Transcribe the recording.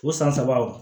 O san saba o